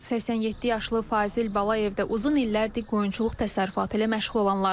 87 yaşlı Fazil Balayev də uzun illərdir qoyunçuluq təsərrüfatı ilə məşğul olanlardandır.